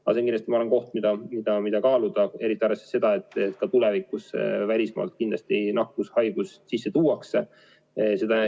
Aga see on minu arvates kindlasti teema, mida kaaluda, eriti arvestades seda, et ka tulevikus välismaalt kindlasti nakkust sisse tuuakse.